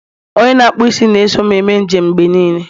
onye na-akpụ m isi na-eso m eme njem mgbe niile